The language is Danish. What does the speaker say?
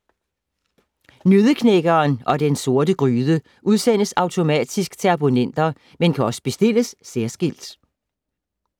Nøddeknækkeren og Den Sorte Gryde udsendes automatisk til abonnenter, men kan også bestilles særskilt.